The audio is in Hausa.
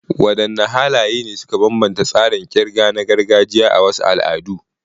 Wadanne halaye ne suka bambanta tsarin kirga na gargajiya a wasu al'adu?